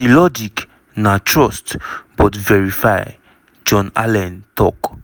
"di logic na trust but verify" john allen tok.